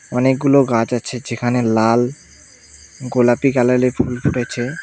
অনেকগুলো গাছ আছে যেখানে লাল গোলাপী কালারে ফুল ফুটেছে।